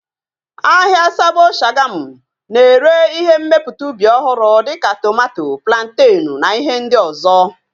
Ahịa Sabo Shagamu na-ere ihe mmepụta ubi ọhụrụ dịka tomato, plantenu na ihe ndị ọzọ